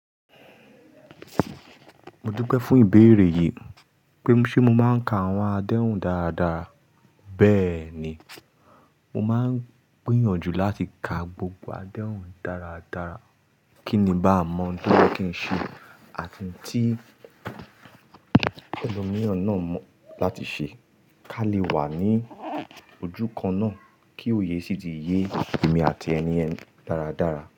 Mo dúpẹ́ fún ìbéèrè yìí pé ṣé mo máa ń ka àwọn adéhùn dáradára. Bẹ́ẹ̀ ni, mo máa ń gbìnyànjú láti ka gbogbo adéhùn dáradára kí ní bá mọ̀ n tó ni kí n ṣe àfi tí ẹlòmìràn náà mọ̀ láti ṣe kí a lè wà ní ojúkan náà kí òye sì ti yé èmi àti ẹniyen dáradára.